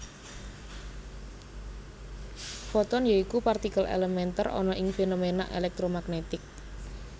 Foton ya iku partikel elementer ana ing fenomena elektromagnetik